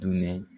Dunnen